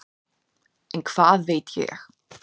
En hvað veit ég.